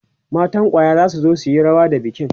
matan kwaya zasu zo suyi rawa da bikin